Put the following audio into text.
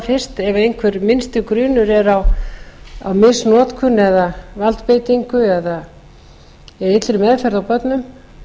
ef einhver minnsti grunur er á misnotkun eða valdbeitingu eða illri meðferð á börnum